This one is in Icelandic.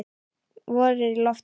Vor er í lofti.